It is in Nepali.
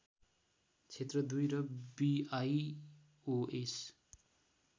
क्षेत्र २ र बिआइओएस